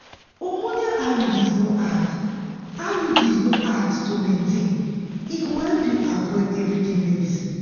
hormonal iuds no hard iuds no hard to maintain e go help you avoid everyday medicines.